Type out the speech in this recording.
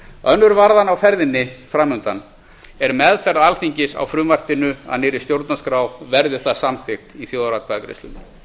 önnur varðan á ferðinni framundan er meðferð alþingis á frumvarpinu að nýrri stjórnarskrá verði það samþykkt í þjóðaratkvæðagreiðslunni